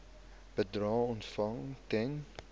bedrae ontvang ten